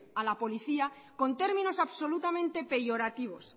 a la policía con términos absolutamente peyorativos